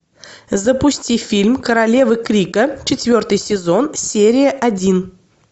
запусти фильм королевы крика четвертый сезон серия один